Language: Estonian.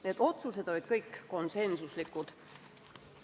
Need otsused olid kõik konsensuslikud.